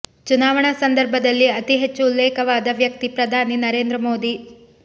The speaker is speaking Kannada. ಚುನಾವಣಾ ಸಂದರ್ಭದಲ್ಲಿ ಅತಿ ಹೆಚ್ಚು ಉಲ್ಲೇಖವಾದ ವ್ಯಕ್ತಿ ಪ್ರಧಾನಿ ನರೇಂದ್ರ ಮೋದಿ